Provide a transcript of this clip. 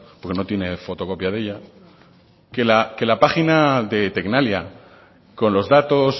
porque no tiene fotocopia de ella que la página de tecnalia con los datos